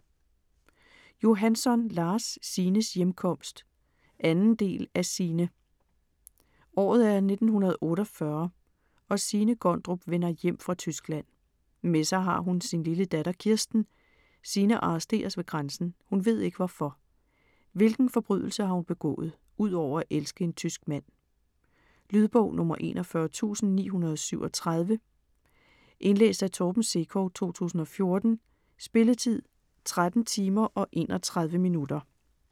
Johansson, Lars: Signes hjemkomst 2. del af Signe. Året er 1948 og Signe Gondrup vender hjem fra Tyskland. Med sig har hun sin lille datter Kirsten. Signe arresteres ved grænsen, hun ved ikke hvorfor? Hvilken forbrydelse har hun begået - udover at elske en tysk mand? Lydbog 41937 Indlæst af Torben Sekov, 2014. Spilletid: 13 timer, 31 minutter.